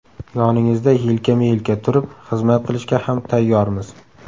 Yoningizda yelkama-yelka turib, xizmat qilishga ham tayyormiz.